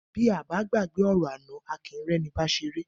Bí à bà gbàgbẹ ọrọ àná àkíń rẹ ni bà ṣẹrẹ